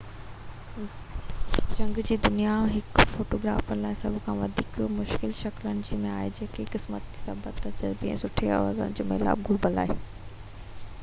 جهنگ جي دنيا هڪ فوٽو گرافر لاءِ سڀ کان وڌيڪ مشڪل شڪلن ۾ آهي ۽ خوش قسمتي صبر تجربي ۽ سٺي اوزارن جو ميلاپ گهربل آهي